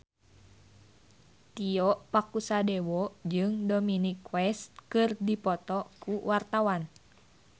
Tio Pakusadewo jeung Dominic West keur dipoto ku wartawan